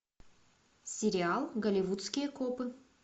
сериал голливудские копы